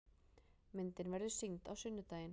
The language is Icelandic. Myndin verður sýnd á sunnudaginn.